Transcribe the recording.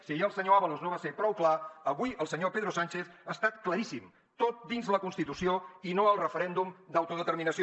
si ahir el senyor ábalos no va ser prou clar avui el senyor pedro sánchez ha estat claríssim tot dins la constitució i no al referèndum d’autodeterminació